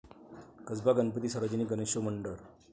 कसबा गणपती सार्वजनिक गणेशोत्सव मंडळ